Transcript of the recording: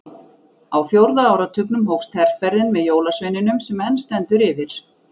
Á fjórða áratugnum hófst herferðin með jólasveininum sem enn stendur yfir.